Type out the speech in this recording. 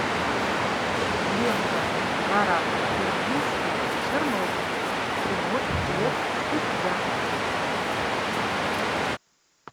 лента гара вербински чернобыль три ноль лет спустя